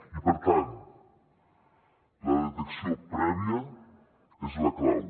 i per tant la detecció prèvia és la clau